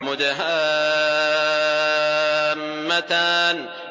مُدْهَامَّتَانِ